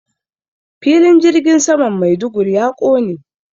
Filin jirgin saman Maiduguri ya ƙone.